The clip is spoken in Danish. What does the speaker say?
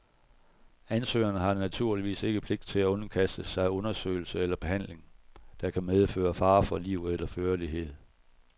Ansøgeren har naturligvis ikke pligt til at underkaste sig undersøgelse eller behandling, der kan medføre fare for liv eller førlighed.